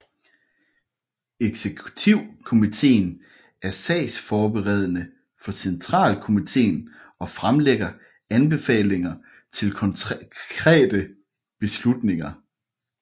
Eksekutivkomiteen er sagsforberedende for centralkomiteen og fremlægger anbefalinger til konkrete beslutninger